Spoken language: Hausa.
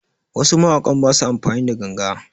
Wasu mawakan basu amfani da ganga